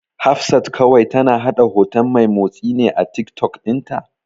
Hafsat kawai tana haɗa hoto mai motsi ne a Tiktok ɗinta.